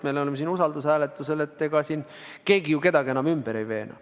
Meil on siin käsil usaldushääletus, ega siin keegi kedagi ümber ei veena.